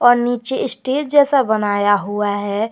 और नीचे स्टेज जैसा बनाया हुआ है।